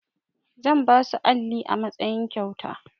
Zan basu alli a matsayin kyauta.